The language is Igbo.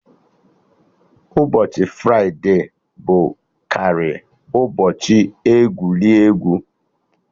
Ụbọchị fride bụ karị ụbọchị egwuregwu